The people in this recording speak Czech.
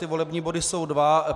Ty volební body jsou dva.